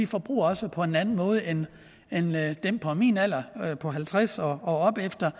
forbruger også på en anden måde end dem på min alder på halvtreds år og opefter